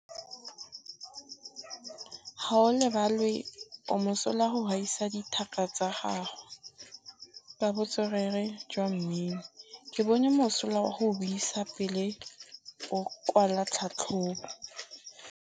Gaolebalwe o mosola go gaisa dithaka tsa gagwe ka botswerere jwa mmino. Ke bone mosola wa go buisa pele o kwala tlhatlhobô.